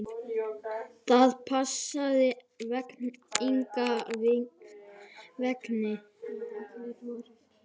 Það passaði engan veginn.